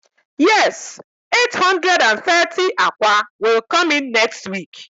Yes eight hundred and thirty akwa will come in next week